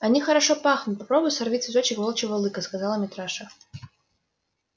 они хорошо пахнут попробуй сорви цветочек волчьего лыка сказал митраша